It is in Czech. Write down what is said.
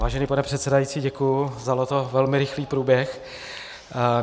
Vážený pane předsedající, děkuji za tento velmi rychlý průběh.